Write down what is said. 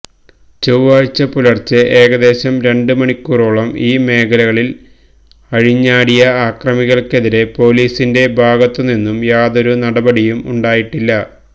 ചൊവ്വാഴ്ച പുലര്ച്ചെ ഏകദേശം രണ്ട് മണിക്കൂറോളം ഈ മേഖലകളില് അഴിഞ്ഞാടിയ അക്രമികള്ക്കെതിരെ പോലീസിന്റെ ഭാഗത്തുനിന്നും യാതൊരു നടപടിയും ഉണ്ടായിട്ടില്ല